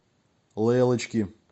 лейлочки